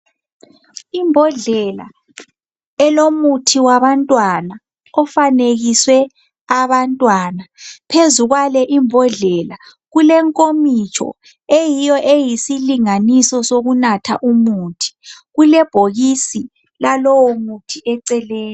Imbhodlela elomuthi wabantwana ofanekiswe abantwana. Phezu kwale imbhodlela kulenkomitsho eyiyo eyisilinganiso sokunatha umuthi, kulebhokisi lalowo muthi eceleni.